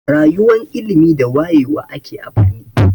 Rayuwan ilimi da wayewa ake a birni.